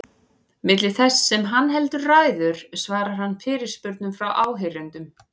Milli þess sem hann heldur ræður svarar hann fyrirspurnum frá áheyrendum.